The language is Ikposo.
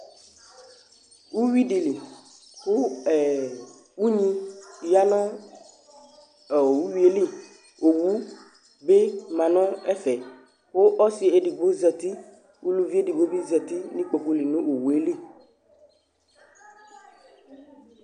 Uyui dɩ li kʋ ɛ unyi ya nʋ ɔ uyui yɛ li Owu bɩ ma nʋ ɛfɛ kʋ ɔsɩ edigbo zati; uluvi edigbo bɩ zati nʋ ikpoku li nʋ owu yɛ li